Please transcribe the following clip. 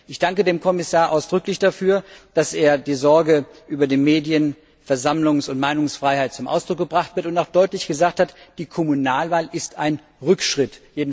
Ich danke dem Kommissar ganz ausdrücklich dafür, dass er die Sorge über die Medien Versammlungs und Meinungsfreiheit zum Ausdruck gebracht hat und auch deutlich gesagt hat, die Kommunalwahl ist ein Rückschritt.